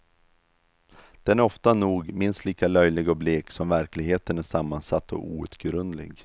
Den är ofta nog minst lika löjlig och blek som verkligheten är sammansatt och outgrundlig.